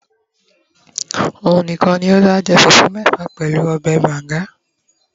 òun nìkàn ní o da je fufu mefa pẹlú obe banga